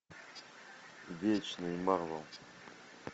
вечные марвел